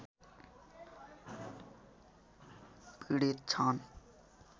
पीडित छन्